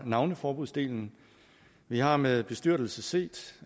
navneforbudsdelen vi har med bestyrtelse set